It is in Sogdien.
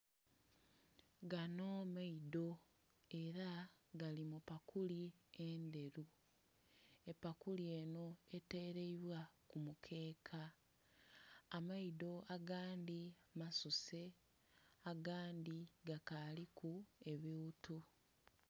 Gano maido ela gali mu pakuli endheru, epakuli enho eteleibwa ku mukeeka, amaido agandhi masuse agandhi gakaaliku ebighuthu.